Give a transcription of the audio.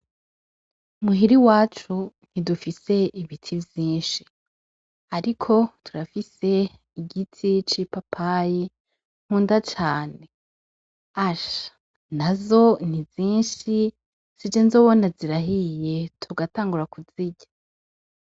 Muhira iwacu ntidufise ibiti vyinshi, ariko turafise igiti c'i papayi nkunda cane asha na zo ni zinshi si je nzobona zirahiye tugatangura kuzirya.